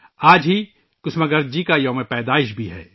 آج ہی کسوماگرج جی کا یوم پیدائش بھی ہے